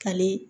Kale